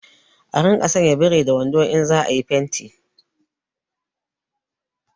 A rinƙa sanya birin da wando in za a yi fenti